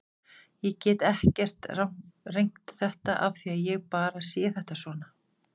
Ég get ekkert rengt þetta af því ég bara sé þetta svona.